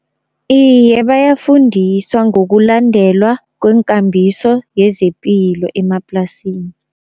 Iye bayafundiswa ngokulandelwa kwenkambiso yezepilo emaplasini.